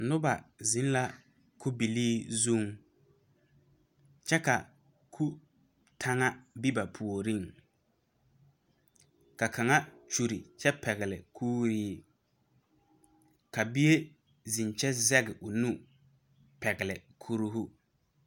Nuba zeng la kubilee zung kye ka ku tanga be ba poɔring ka kanga kyuli kye pɛgli kouree ka bie zeng kye zege ɔ nu pɛgli kuroo.